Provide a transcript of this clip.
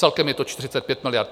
Celkem je to 45 miliard.